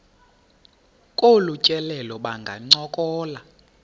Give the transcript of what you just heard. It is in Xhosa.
kolu tyelelo bangancokola